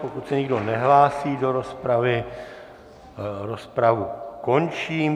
Pokud se nikdo nehlásí do rozpravy, rozpravu končím.